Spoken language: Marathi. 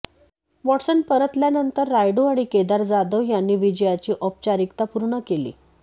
वॉटसन परतल्यानंतर रायडू आणि केदार जाधव यांनी विजयाची औपचारिकता पूर्ण केली